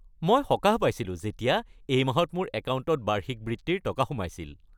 মই সকাহ পাইছিলো যেতিয়া এই মাহত মোৰ একাউণ্টত বাৰ্ষিক বৃত্তিৰ টকা সোমাইছিল।